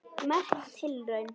Merk tilraun